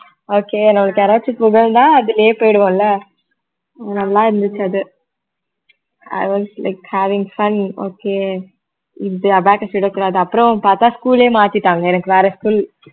okay என்னோட யாராச்சு புகழ்ந்தா அதுலயே போயிடுவோம் இல்ல நல்லாயிருந்துச்சு அது அது வந்து like having fun okay இப்படி abacus எடுக்குறது அது அப்புறம் பார்த்தா school ஏ மாத்திட்டாங்க எனக்கு வேற school